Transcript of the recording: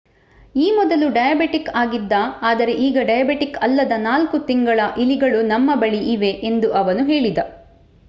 ಈ ಮೊದಲು ಡಯಾಬೆಟಿಕ್ ಆಗಿದ್ದ ಆದರೆ ಈಗ ಡಯಾಬೆಟಿಕ್ ಅಲ್ಲದ 4 ತಿಂಗಳ ಇಲಿಗಳು ನಮ್ಮ ಬಳಿ ಇವೆ, ಎಂದು ಅವನು ಹೇಳಿದ